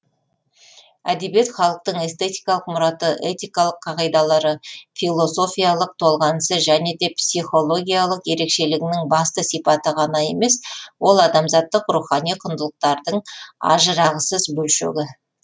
әдебиет халықтың эстетикалық мұраты этикалық қағидалары философиялық толғанысы және де психологиялық ерекшелігінің басты сипаты ғана емес ол адамзаттық рухани құндылықтардың ажырағысыз бөлшегі